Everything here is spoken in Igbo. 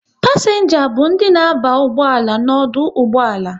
Pasienga bụ ndị na aba ụgbọala n'ọdụ ụgbọala